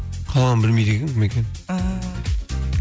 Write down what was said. қалғанын білмейді екенмін кім екенін ааа